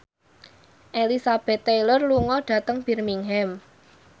Elizabeth Taylor lunga dhateng Birmingham